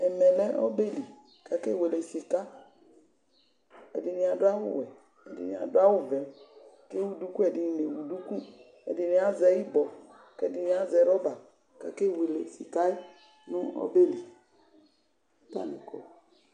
Ɛmɛ lɛ ɔbeli kakewele sika Ɛdini adu awu wɛ, ɛdini adu awu vɛ kewu duku Ɛdini azɛ ibɔ kɛdini azɛ rɔba kakewele sika nu ɔbeli